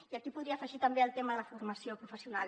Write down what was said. i aquí podria afegir també el tema de la formació professional